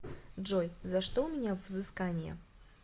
джой за что у меня взыскания